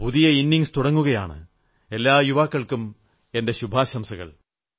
പുതിയ ഇന്നിംഗ്സ് തുടങ്ങുകയാണ് എല്ലാ യുവാക്കൾക്കും എന്റെ ശുഭാശംസകൾ